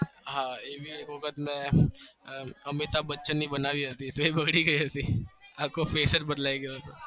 હા એવી એક વખત મેં અમિતાબ બચ્ચન ની બનવી હતી ફી બગડી ગયી હતી